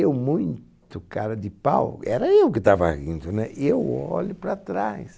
Eu muito cara de pau, era eu que estava rindo, né? E eu olho para trás.